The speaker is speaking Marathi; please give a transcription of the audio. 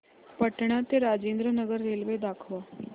पटणा ते राजेंद्र नगर रेल्वे दाखवा